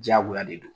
Diyagoya de don